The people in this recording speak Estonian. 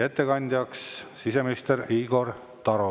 Ettekandja on siseminister Igor Taro.